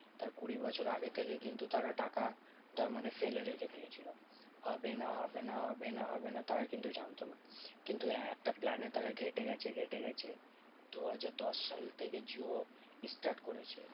তার কুড়ি বছর আগে থেকে কিন্তু তারা টাকাটা মানে ফেলে রেখে দিয়েছিলো। হবে না হবে না হবে না হবে না তারা কিন্তু জানতো। কিন্তু হ্যাঁ একটা plan এ তারা ঘেটে গেছে ঘেটে গেছে। দুহাজার দশ সাল থেকে জিও start করেছিল।